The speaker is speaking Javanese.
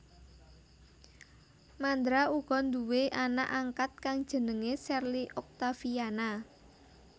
Mandra uga nduwé anak angkat kang jenengé Sherly Oktaviana